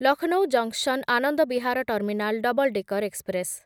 Lucknow junction Anand Vihar terminal double decker express